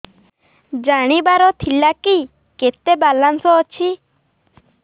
ଜାଣିବାର ଥିଲା କି କେତେ ବାଲାନ୍ସ ଅଛି